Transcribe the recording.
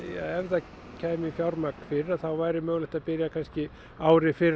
ef það kæmi fjármagn fyrr þá væri hægt að byrja ári fyrr